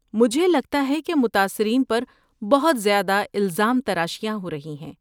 مجھے لگتا ہے کہ متاثرین پر بہت زیادہ الزام تراشیاں ہو رہی ہیں۔